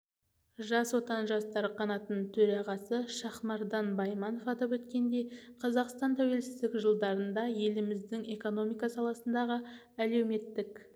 жас отан жастар қанатының төрағасы шахмардан байманов атап өткендей қазақстан тәуелсіздік жылдарында еліміздің экономика саласындағы әлеуметтік